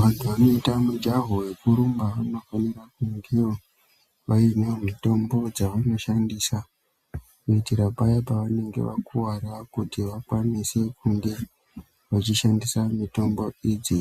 Vantu vanoita mujaho yekurumba anofanira kungewo vainewo mitombo dzavano shandisa kuitira paya pa vanenge vakuvara kuti vakwanise kunge vachi shandisa mitombo idzi